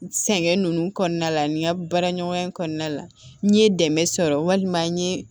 Sɛŋɛn ninnu kɔnɔna la ani n ka baara ɲɔgɔnya kɔnɔna la n ye dɛmɛ sɔrɔ walima n ye